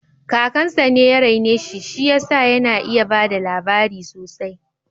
Kakansa ne ya rene shi, shi ya sa yana iya bada labari sosai